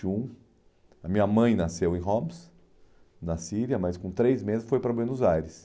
e um. A minha mãe nasceu em Homs, na Síria, mas com três meses foi para Buenos Aires.